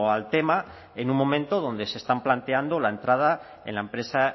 al tema en un momento donde se están planteando la entrada en la empresa